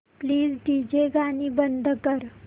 please DJ गाणी बंद कर